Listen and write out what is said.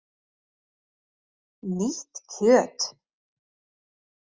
Nýtt kjöt!